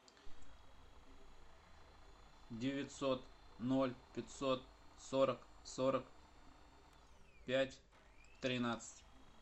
девятьсот ноль пятьсот сорок сорок пять тринадцать